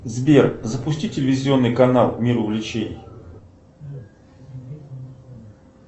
сбер запусти телевизионный канал мир увлечений